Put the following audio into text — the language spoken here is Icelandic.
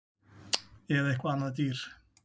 Eða eitthvað annað dýr